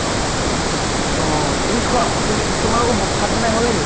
অ তুমি খোৱা, তুমি তোমালোকৰ ব ভাত বনাই হʼল নেকি?